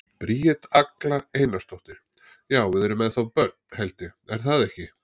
Bríet Agla Einarsdóttir: Já, við erum ennþá börn, held ég, er það ekki?